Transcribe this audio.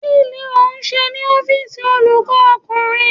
Kí ló ń ṣe ní ọ́fíìsì olùkọ́ ọkùnrin?